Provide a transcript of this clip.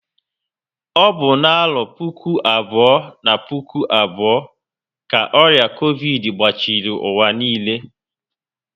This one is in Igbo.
Ọ bụ na arọ puku abụọ na puku abụọ ka ọrịa covidi gbachiri ụwa niile